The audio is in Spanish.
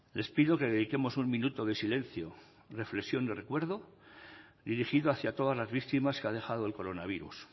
les pido que dediquemos un minuto de silencio reflexión y recuerdo dirigido hacia todas las víctimas que ha dejado el coronavirus